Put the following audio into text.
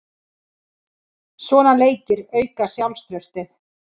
Svona leikir auka sjálfstraustið.